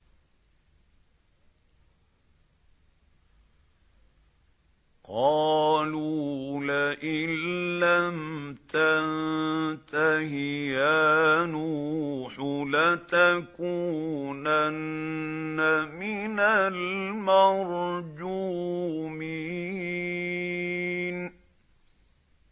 قَالُوا لَئِن لَّمْ تَنتَهِ يَا نُوحُ لَتَكُونَنَّ مِنَ الْمَرْجُومِينَ